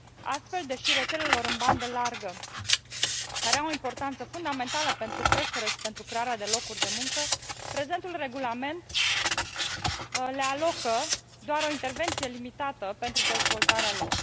Astfel, rețelelor în bandă largă, care au importanță fundamentală pentru creștere și pentru crearea de locuri de muncă, prezentul regulament le alocă doar o intervenție limitată pentru dezvoltarea lor.